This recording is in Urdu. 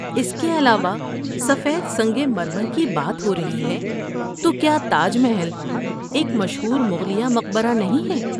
اس کے علاوہ، سفید سنگ مرمر کی بات ہو رہی ہے تو، کیا تاج محل ایک مشہور مغلیہ مقبرہ نہیں ہے؟